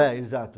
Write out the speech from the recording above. É, exato.